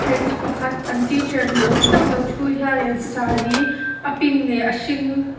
hmeichhia pakhat an teacher ni awm tak lo thu hian in saree a pink leh a hring--